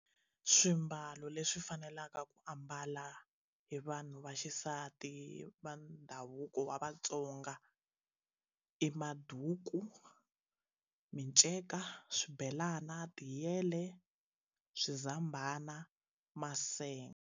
Swimbalo leswi fanelaka ku ambala hi vanhu vaxisati va ndhavuko wa vatsonga i maduku miceka swibelana tiyele swizambhana .